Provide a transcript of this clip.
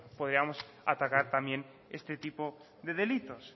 podríamos atacar también este tipo de delitos